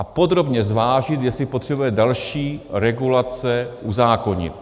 A podrobně zvážit, jestli potřebujeme další regulace uzákonit.